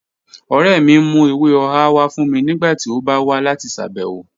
Ọ̀rẹ́ mì n mú èwè ọ̀hà wà fún mì nígbàtí ó bá wà láti ṣábẹ̀wọ̀